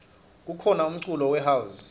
kukhona umculo we house